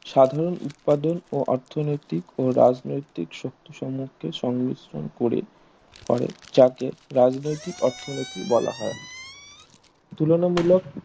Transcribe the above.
সাধারণ উৎপাদন ও অর্থনৈতিক ও রাজনৈতিক শক্তি সম্মুখে সংমিশ্রণ করে করে যাকে রাজনৈতিক অর্থনৈতিক বলা হয় তুলনা মূলক